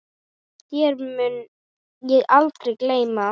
Þér mun ég aldrei gleyma.